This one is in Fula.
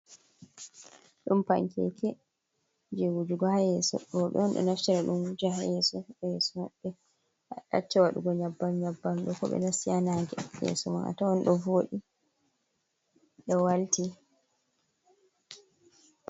Ɗum pankeke je wujugo haa yeeso. Rooɓe on ɗo naftira ɗum wuja haa yeeso. Yeeso maɓɓe acca waɗugo nƴebbam-nƴebbam ɗo. Ko ɓe nasti haa nange, yeeso mai a tawai ɗo voɗi, ɗo walti.